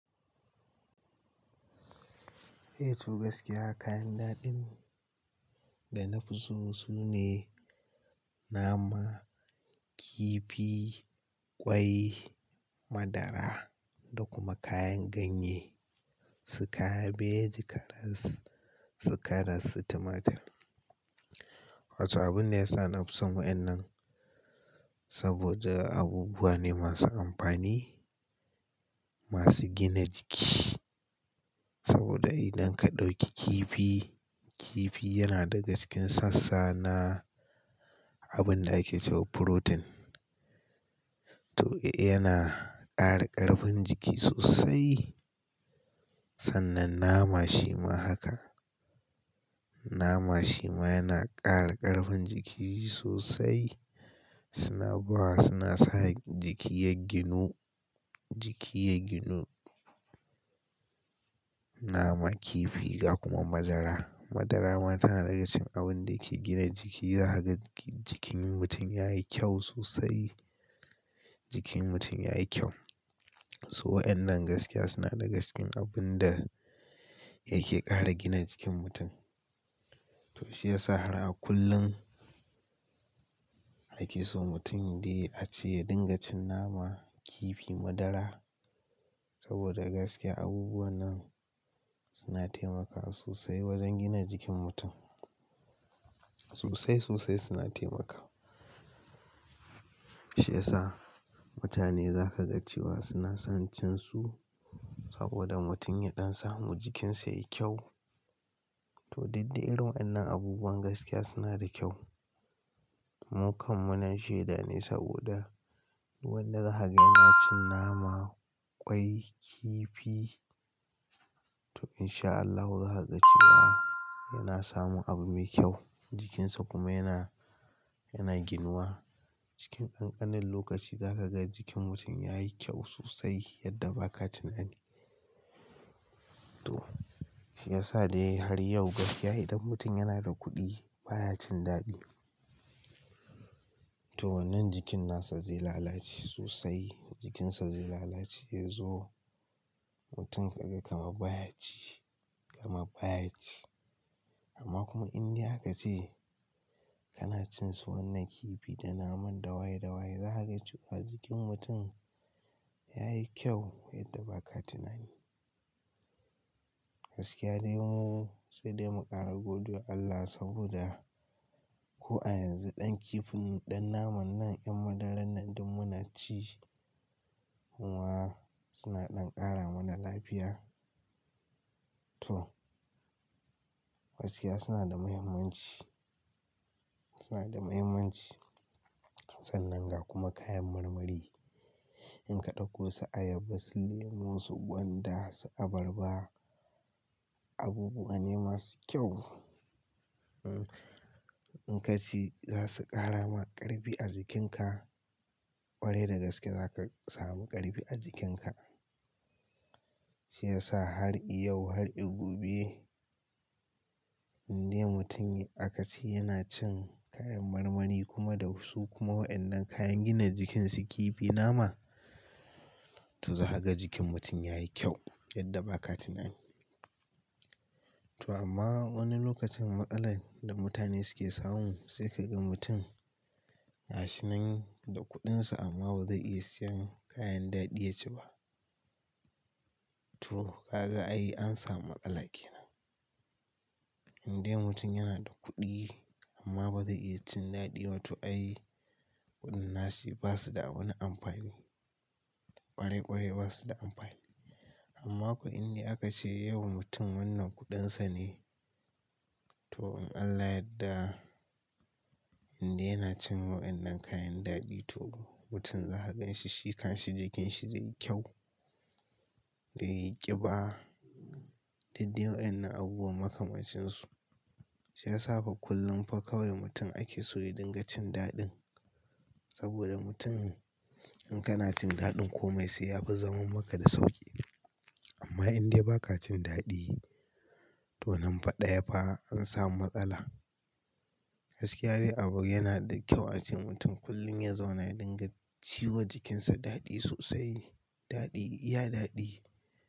Eh to gaskiya kayan daɗin, da na fi so sune nama, kifi, ƙwai, madara da kuma kayan ganye, si kabeji, karas-- si karas, tumatir. Wato abun da ya sa na fi son waƴannan, saboda abubuwa ne masu amfani, masu gina jiki. Saboda idan ka ɗauki kifi, kifi yana daga cikin sassa na abun da ake cewa furotin. To, yana ƙara ƙarfin jiki sosai. Sannan nama shima haka. Nama shima yana ƙara ƙarfin jiki sosai. Suna bawa-- suna sa jiki yagginu, jiki yagginu. Nama, kifi ga kuma madara. Madara ma tana daga cikin abun da ke gina jiki, za ka ga jikin mutum yayi kyau sosai, Jikin mutum yayi kyau. So waƴannan gaskiya suna daga cikin abun da yake ƙara gina jikin mutum. To shi yasa har a kullun, ake so mutum dai a ce ya dinga cin nama, kifi, madara, saboda gaskiya abubuwan nan, suna taimakawa sosai wajen gina jikin mutum. Sosai sosai suna taimakawa. Shi yasa mutane za ka ga cewa suna son cin su, saboda mutum ya ɗan samu jikinsa yayi kyau. To diddai irin waƴannan abubuwan gaskiya suna da kyau. Mu kan mu nan shaida ne, saboda duk wanda za kaga yana cin nama, ƙwai, kifi to in sha Allahu za ka ga cewa yana samun abu mai kyau, jikinsa kuma yana, yana ginuwa. Cikin ƙanƙanin lokaci za ka ga jikin mutum yayi kyau sosai yadda ba ka tunani. To, shi ya sa dai har yau gaskiya idan mutum yana da kuɗi baya cin daɗi, to wannan jikin nasa zai lalace sosai, jikinsa zai lalace, yazo mutum ka ga kamar baya ci, kamar baya ci. Amma kuma in dai aka ce, kana cin su wannan kifi da naman dawaye dawaye za ka ga cewa jikin mutum yayi kyau yadda ba ka tunani. Gaskiya dai mu, sai dai mu ƙara godewa Allah saboda ko a yanzu ɗan kifin nan, ɗan naman nan, ƴan madaran nan duk muna ci, kuwa suna ɗan ƙara mana lafiya. To, gaskiya suna da mahimmanci, suna da mahimmanci. Sannan ga kuma kayan marmari, In ka ɗauko su ayaba, su lemu, su gwanda, su abarba, abubuwa ne masu kyau, Eh, In ka ci za su ƙara ma ƙarfi a jikinka, Ƙwarai da gaske za ka sami ƙarfi a jikinka. Shi ya sa har i yau har i gobe, indai mutum aka ce yana cin kayan marmari kuma da su kuma waƴannan kayan gina jikin su kifi, nama, to za ka ga jikin mutum yayi kyau yadda ba ka tunani. To amma wani lokacin matsalar da mutane suke samu, sai ka ga mutum, ga shinan da kuɗinsa amma ba zai iya siyan kayan daɗi ya ci ba. To ka ga ai an samu matsala kenan. Indai mutum yana da kuɗi, amma ba zai iya cin daɗi ma to ai, kuɗin nashi basu da wani amfani. Ƙwarai-ƙwarai basu da amfani. Amma ko indai aka ce yau mutum wannan kuɗin sa ne, to in Allah yadda, indai yana cin waƴannan kayan daɗi to mutum za ka ganshi shi kan shi jikin shi zai yi kyau. Ya yi ƙiba. Duk dai waƴannan abubuwan maka mancinsu. Shi ya sa fa kullum fa kawai mutum ake so ya dinga cin daɗin. Saboda mutum, in kana cin daɗin komai sai ya fi zaman maka da sauƙi. Amma indai ba ka cin daɗi, to nan fa ɗaya fa an samu matsala. Gaskiya dai abu yana da kyau a ce mutum kullum ya zauna ya dinga ciwa jikinsa daɗi sosai, daɗi, iya daɗi.